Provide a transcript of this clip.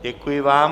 Děkuji vám.